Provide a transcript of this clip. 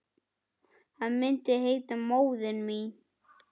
Hann myndi heita Móðir mín.